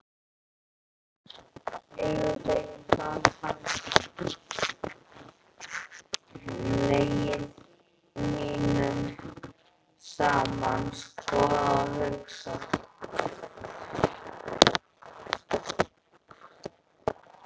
Yfir þeim gat hann legið tímunum saman, skoðað og hugsað.